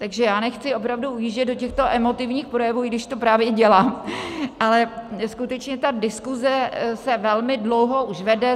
Tak já nechci opravdu ujíždět do těchto emotivních projevů, i když to právě dělám, ale skutečně ta diskuse se velmi dlouho už vede.